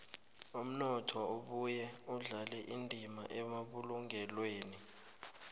umnotho ubuye udlale indima emabulungelweni